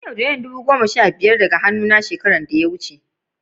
An' yaudara dubu sha biyar daga hannu na shekaran da ta wuce.